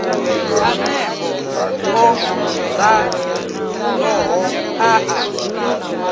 aneo o raloho a a